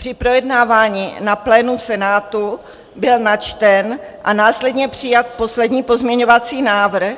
Při projednávání na plénu Senátu byl načten a následně přijat poslední pozměňovací návrh,